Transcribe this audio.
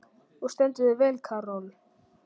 Þú stendur þig vel, Karol!